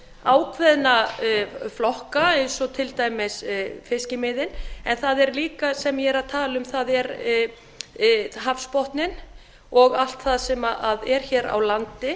ákveðna flokka eins og fiskimiðin en það sem ég er að tala um er líka hafsbotninn og allt það sem er á landi